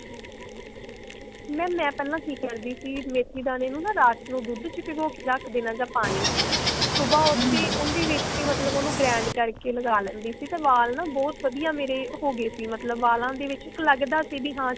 mam ਮੈਂ ਪਹਿਲਾਂ ਕਿ ਕਰਦੀ ਸੀ ਮੇਥੀ ਦਾਣੇ ਨੂੰ ਨਾ ਰਾਤ ਨੂੰ ਦੁੱਧ ਚ ਭਿਗੋ ਕੇ ਰੱਖ ਦੇਣਾ ਜਾ ਪਾਣੀ ਚ ਸੁਭਾਹ ਉੱਠ ਕੇ ਉਹਦੇ ਵਿੱਚ ਕੇ ਮਤਲਬ ਉਹਨੂੰ grained ਕਰਕੇ ਲਗਾ ਲੈਂਦੀ ਸੀ ਤੇ ਵਾਲ ਨਾ ਬਹੁਤ ਵਧੀਆਂ ਮੇਰੇ ਹੋ ਗਏ ਸੀ ਮਤਲਬ ਵਾਲਾਂ ਦੇ ਵਿੱਚ ਲੱਗਦਾ ਸੀ ਵੀ ਹਾਂ